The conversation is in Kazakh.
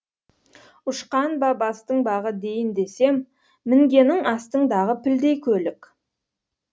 ұшқан ба бастың бағы дейін десем мінгенің астыңдағы пілдей көлік